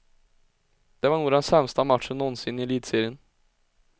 Det var nog den sämsta matchen någonsin i elitserien.